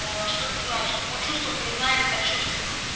аа что это значит о чувствах не знает о чувствах